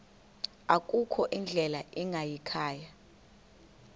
akukho ndlela ingayikhaya